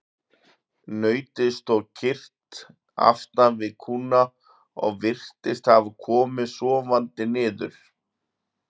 Nautið stóð kyrrt aftan við kúna og virtist hafa komið sofandi niður.